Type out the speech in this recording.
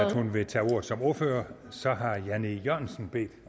at hun vil tage ordet som ordfører så har herre jan e jørgensen bedt